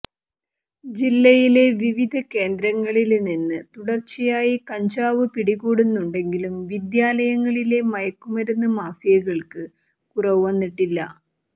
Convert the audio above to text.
ജില്ലയിലെ വിവിധ കേന്ദ്രങ്ങളില് നിന്ന് തുടര്ച്ചയായി കഞ്ചാവ് പിടികൂടുന്നുണ്ടെങ്കിലും വിദ്യാലയങ്ങളിലെ മയക്കു മരുന്ന് മാഫിയകള്ക്ക് കുറവുവന്നിട്ടില്ല